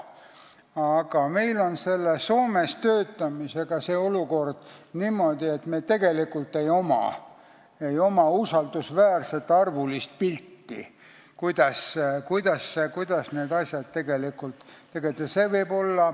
Aga meil on selle Soomes töötamisega olukord selline, et meil ei ole usaldusväärset arvulist pilti, kuidas nende asjadega tegelikult on.